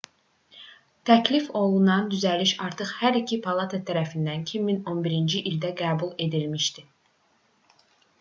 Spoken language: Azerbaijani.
təklif olunan düzəliş artıq hər iki palata tərəfindən 2011-ci ildə qəbul edilmişdi